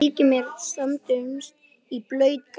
Ég fleygði mér samstundis í blautt grasið.